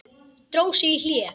Dró sig í hlé.